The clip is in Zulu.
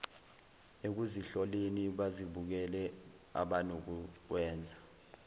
ekuzihloleni bazibukele abanokukwenza